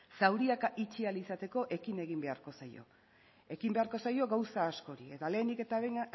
zauriak itxi ahal izateko ekin egin beharko zaio ekin beharko zaio gauza askori eta lehenik eta behin